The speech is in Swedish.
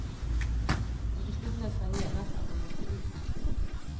Han förstod nästan genast att de måste ut.